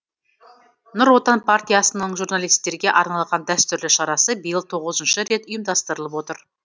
нұр отан партиясының журналистерге арналған дәстүрлі шарасы биыл тоғызыншы рет ұйымдастырылып отыр